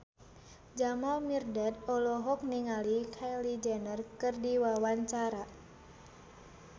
Jamal Mirdad olohok ningali Kylie Jenner keur diwawancara